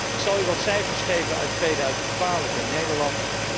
Ik zal u wat cijfers geven uit 2012 in Nederland.